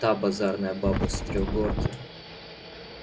та базарная баба с трёхгорки